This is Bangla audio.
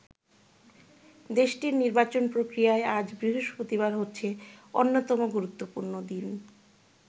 দেশটির নির্বাচন প্রক্রিয়ায় আজ বৃহস্পতিবার হচ্ছে অন্যতম গুরুত্বপূর্ণ দিন।